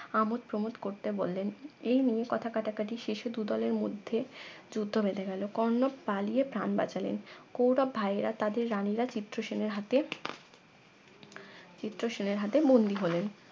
আমদ প্রমোদ করতে বললেন এই নিয়ে কথা কাটাকাটি শেষে দুদলের মধ্যে যুদ্ধ বেধে গেলো কর্ণ পালিয়ে প্রান বাঁচালেন কৌরব ভাইয়েরা তাদের রানিরা চিত্রসেনের হাতে চিত্রসেনের হাতে বন্দি হলেন